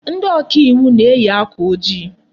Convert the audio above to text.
Ndị oka iwu na-eyi akwa ojii.